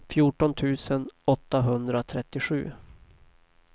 fjorton tusen åttahundratrettiosju